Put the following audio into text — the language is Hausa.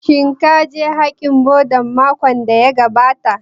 Shin ka je haikalin Bhudha makon da ya gabata